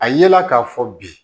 A yela k'a fɔ bi